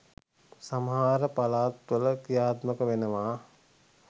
සමහර පලාත් වල ක්‍රියාත්මක වෙනවා.